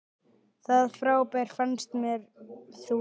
Það frábær fannst mér þú.